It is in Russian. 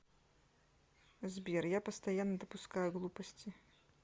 сбер я постоянно допускаю глупости